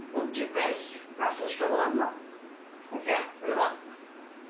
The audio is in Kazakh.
бұл жпс прослушка болады мына әсия біліп ал